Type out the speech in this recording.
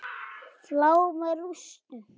Flá með rústum.